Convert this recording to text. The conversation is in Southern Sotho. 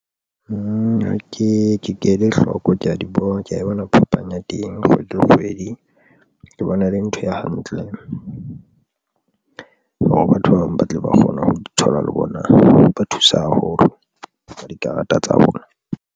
Nna ke ke ele hloko, ke ya di bona ke ya e bona phapang ya teng kgwedi le kgwedi ke bona e le ntho e hantle hore batho ba bang ba tle ba kgona ho di thola le bona, ba thusa haholo ka dikarata tsa bona.